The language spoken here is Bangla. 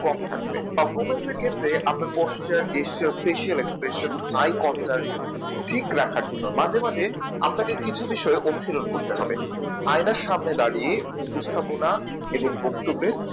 কম থাকবে Performance এর ক্ষেত্রে আপনার Posture Gesture Facial expression eye concert ঠিক রাখার জন্য মাঝে মাঝে আপনাকে কিছু বিষয় অনুসরণ করতে হবে। আয়নার সামনে দাঁড়িয়ে উপস্থাপনা এবং বক্তব্যের